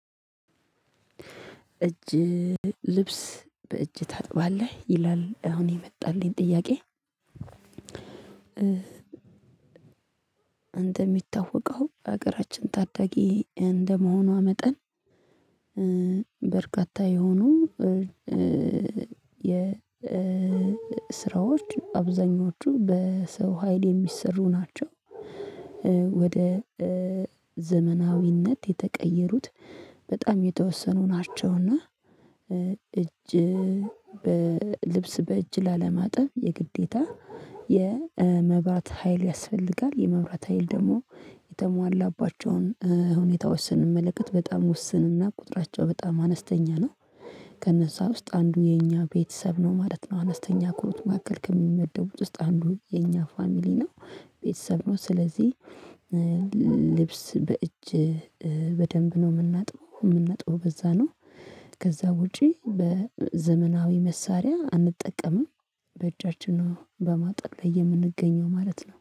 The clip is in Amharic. እጅ ልብስ በእጅ ታጥባለህ ይላል አሁን የመጣልኝ ጥያቄ? እንደሚታወቀው ሀገራችን ታዳጊ እንደመሆኗ መጠን በርካታ የሆኑ የ የሥራዎች አብዛኞቹ በሰው ሀይል የሚሰሩ ናቸው። ወደ ዘመናዊነት የተቀየሩት በጣም የተወሰኑ ናቸው። እና እጅ በልብስ በእጅ ላለማጠብ የግዴታ የመብራት ሀይል ያስፈልጋል የመብራት ሀይል ደግሞ የተሟላባቸውን ሁኔታዎች ስንመለከት በጣም ውስንና ቁጥራቸው በጣም አነስተኛ ነው። ከነዛ ውስጥ አንዱ የኛ ቤተሰብ ነው ማለት ነው። አነስተኛ ኮት ማዕከል ከሚመደቡት ውስጥ አንዱ የኛ ፋሚሊ ነው። ቤተሰብ ነው ስለዚህ ልብስ በእጅ በደንብ ነው የምናጥበው የምናጥበው በዛ ነው። ከዛ ውጪ በዘመናዊ መሳሪያ አንጠቀምም። በእጃችን ነው በማጠብ ላይ የምንገኘው ማለት ነው